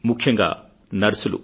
ముఖ్యంగా నర్సులు